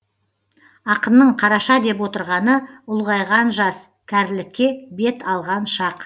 ақынның қараша деп отырғаны ұлғайған жас кәрілікке бет алған шақ